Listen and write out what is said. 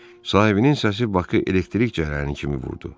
Sahibinin səsi Bakı elektrik cərəyanı kimi vurdu.